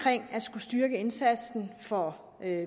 styrke indsatsen for